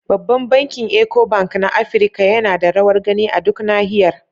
Babban bankin Eco Bank na Afirka yana da rawar gani a duk Nahiyar.